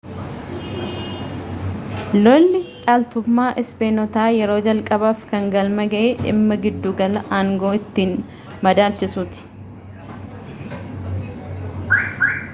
lolli dhaaltummmaa ispeenotaa yeroo jalqabaaf kan galma ga'e dhimma giddu galaa aangoo ittiin madaalchisuuti